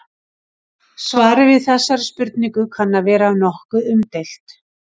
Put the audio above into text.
Svarið við þessari spurningu kann að vera nokkuð umdeilt.